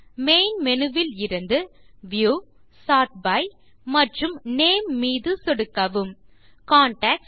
main Menuஇலிருந்துView sort by மற்றும் name மீது சொடுக்கவும் கான்டாக்ட்ஸ்